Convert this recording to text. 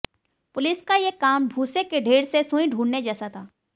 police का ये काम भूसे के ढेर से सुई ढूंढ़ने जैसा था